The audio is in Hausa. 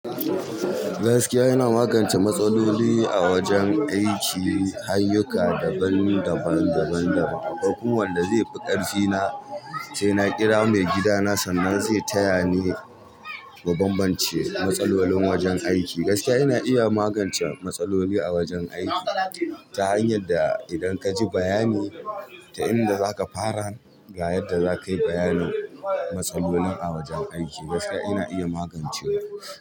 Gaskiya ina magance matsaloli a wajen aiki, ayyuka daban daban, daban daban. Kokumawanda zai fi ƙarfi na saina kira maigida na sannan zai taya ni ba bambance matsalolin wajen aiki. Gaskiya yana iya magance matsaloli a wajen aiki ta hanyar da idan ka ji bayani ta inda zaka fara, ga yadda za ka yi bayanin matsalolin a wajen aiki. Gaskiya yana iya magancewa.